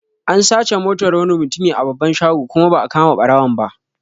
An sace Motar wani mutumi a babban shago kuma ba'a kama ɓarawon ba